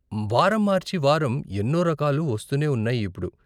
వారం మార్చి వారం ఎన్నో రకాలు వస్తూనే ఉన్నాయి ఇప్పుడు.